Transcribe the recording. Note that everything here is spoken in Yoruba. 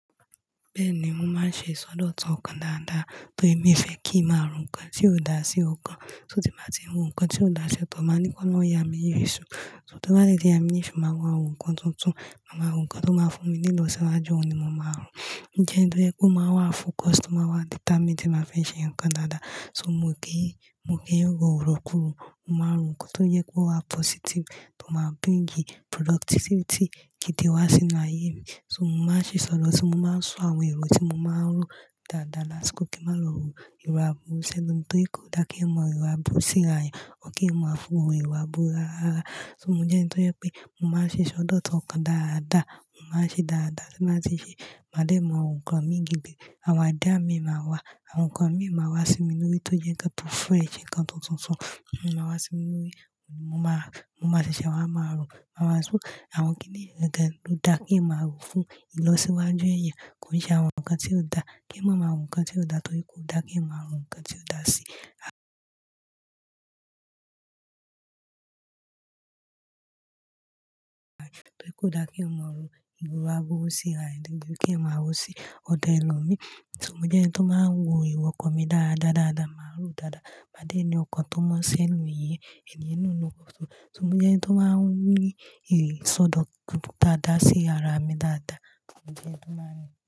Bẹ́ẹ̀ni, mò ń ṣe ìsọdọ̀tán ọkàn dáadáa tó ń fẹ́ kí màá rò nǹkan tí ó dá sí ọkàn. Torí tí màá ti hun nǹkan tí ó dá sí ọ̀tọ̀, màá ní kó lọ yá mi iyì èṣù. Toba detí màá rí iyì èṣù, màá hun àwọn nǹkan tuntun. Màá hun nǹkan tó máa fún mi ní ìlọsíwájú ni mò máa rò. Ǹjẹ́ ẹni tó yẹ kó máa wà fún customer, data media máa fẹ́ ṣe nǹkan dáadáa. So mo gé, mo gé ọ̀rọ̀ kúrò, mò máa rò nǹkan tó yẹ kó wà positive tó máa bring productivity gidi wá sínú ayé mi. So mò máa ń ṣìṣọ̀dọ̀, mo máa ń sọ àwọn èrò tí mò máa ń rò dáadáa lásìkò kí mò má lọ rò ìwà búburú sẹ́lomi, torí kò dá kí ẹ mọ ìwà búburú síra, ọ̀ kí ẹ máa fún ọmọ ìwà búburú rara. So mò jẹ́ ẹni tó yẹ pé mò máa ṣe ìsọdọ̀tọ́ ọkàn dáadáa, mò máa ṣe dáadáa tí màá ti ṣe, mádẹ̀ mọ nǹkan méjì gbé, àwọn àdíá mi máa wá, àwọn nǹkan mi máa wá sí mi lórí tó jẹ́ kí a tó fún ẹ̀ṣin kan tuntun fún, òún máa wá sí mi lórí, mò máa, mò máa ṣẹ̀ṣẹ̀ wá, màá rò, màá sọ àwọn kíní ìrẹ̀dẹ̀ ló dá kí n máa rò fún ìlọsíwájú ẹ̀yàn, kò ṣe àwọn nǹkan tí ò dá, kí n máa rò nǹkan tí ò dá, torí kò dá kí n máa rò nǹkan tí ò dá sí, torí kò dá kí n máa rò ìwà búburú síra, kí n máa rò sí ọ̀dọ̀ ẹlòmí. So mò jẹ́ ẹni tó máa ń wo ìwà ọkọ mi dáadáa, dáadáa, màá rò dáadáa. Máde ni ọkàn tó mọ́ sẹ́nu ìyẹn, ènìyàn náà ló kọ, so mò jẹ́ ẹni tó máa ń rí ìsọdọ̀ tuntun dáadáa sí ara mi dáadáa. Mò jẹ́ ẹni tó máa ń rí.